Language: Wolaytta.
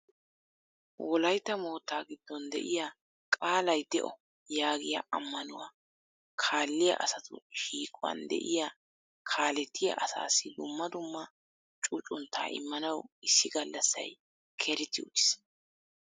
Wolaytta mootta giddon de'iyaa qaalay de''o yaagiyaa ammanuwaa kaaliyaa asatu shiiquwan de'iyaa kaallettiya asassi dumma dumma cuccuntta immanaw issi gallassay kereti uttiis.